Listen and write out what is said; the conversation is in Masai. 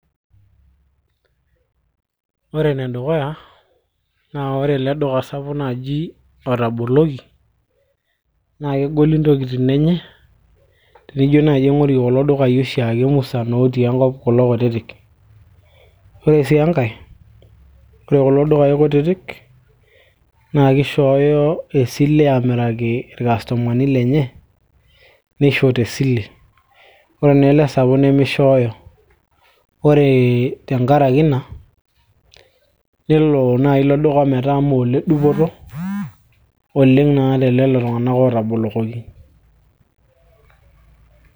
ore enedukuya naa ore ele duka sapuk naaji otaboloki naa kegoli intokitin enye tenijo naaji aing'orie kulo dukai oshi ake musan otii enkop kulo kutitik ore sii enkay ore kulo dukai kutitik naa kishooyo esile aamiraki irkastomani lenye nisho tesile ore naa ele sapuk nemishooyo ore tenkaraki ina nelo naaji ilo duk.a metaa mee oledupoto oleng naa telelo tung'anak naa ootabolokoki